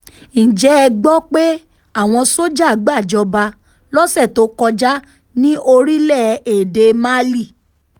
ǹjẹ́ ẹ gbọ́ pé àwọn sójà gbàjọba lọ́sẹ̀ tó kọjá ní orílẹ̀-èdè málí